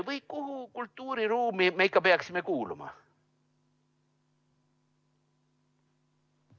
Või kuhu kultuuriruumi me ikka peaksime kuuluma?